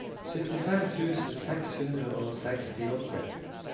syttifem tusen seks hundre og sekstiåtte